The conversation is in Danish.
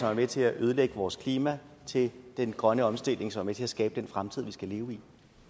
er med til at ødelægge vores klima til den grønne omstilling så man er med til at skabe den fremtid vi skal leve i